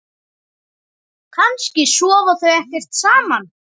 Kannski sofa þau ekkert saman?